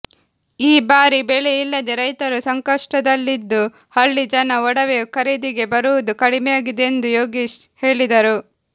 ಈ ಬಾರಿ ಬೆಳೆ ಇಲ್ಲದೆ ರೈತರು ಸಂಕಷ್ಟದಲ್ಲಿದ್ದು ಹಳ್ಳಿ ಜನ ಒಡವೆ ಖರೀದಿಗೆ ಬರುವುದು ಕಡಿಮೆಯಾಗಿದೆ ಎಂದು ಯೋಗೀಶ್ ಹೇಳಿದರು